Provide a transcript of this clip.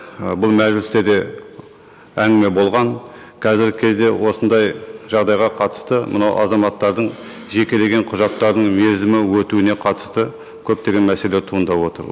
ы бұл мәжілісте де әңгіме болған қазіргі кезде осындай жағдайға қатысты мынау азаматтардың жекелеген құжаттардың мерзімі өтуіне қатысты көптеген мәселе туындап отыр